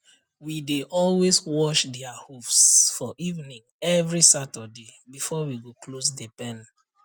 we dey always wash dia hooves for evening every saturday before we go close the pen